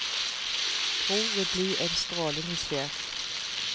Gro vil bli en strålende sjef.